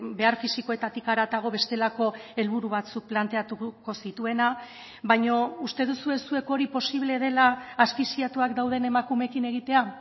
behar fisikoetatik haratago bestelako helburu batzuk planteatuko zituena baina uste duzue zuek hori posible dela asfixiatuak dauden emakumeekin egitea